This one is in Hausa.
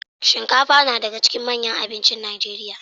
Shinkafa nadaka cikin manyan abincin nigeria